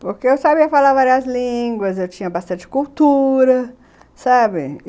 Porque eu sabia falar várias línguas, eu tinha bastante cultura, sabe?